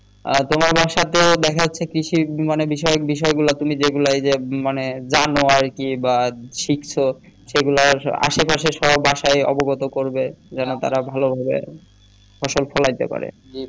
তোমার বাসাতে দেখা যাচ্ছে কৃষি বিষয়ক বিষয় গুলা তুমি যে গুলা মানে যে গুলা জানো আরকি বা শিখেছো সে গুলার আশে পাশে সব বাসায় অবগত করবে যেন তারা ভালো ভাবে ফসল ফলাতে পারে